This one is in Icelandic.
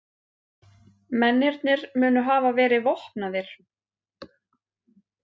Mennirnir munu hafa verið vopnaðir